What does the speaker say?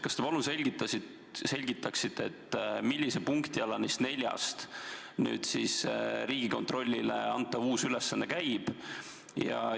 Kas te palun selgitaksite, millise punkti alla neist neljast Riigikontrollile antav uus ülesanne käib?